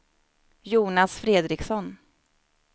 Jonas Fredriksson